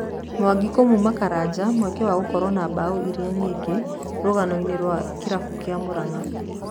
Mwangi kũmũma Karanja mweke wa gũkoro na mbao iria nyingĩ rũganoinĩ rwa Kĩrabũ kĩa Muranga.